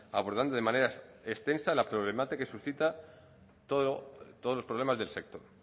abordando de manera extensa la problemática que suscitan todos los problemas del sector